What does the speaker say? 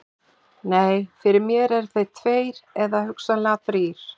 Nei, fyrir mér eru þeir tveir eða hugsanlega þrír.